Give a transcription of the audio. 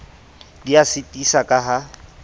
di a sitisa ka ha